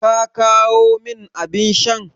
Ka kawo min abin shan?